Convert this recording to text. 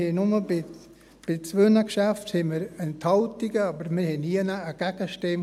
Wir hatten nur bei zwei Geschäften Enthaltungen, aber wir hatten nirgendwo eine Gegenstimme.